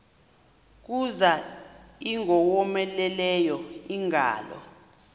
kuza ingowomeleleyo ingalo